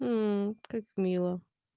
мм как мило